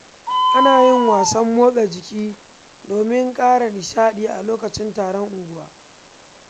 Ana yin wasan motsa jiki domin kara nishaɗi a lokacin taron unguwa.